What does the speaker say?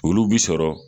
Olu bi sɔrɔ